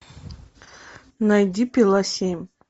найди пила семь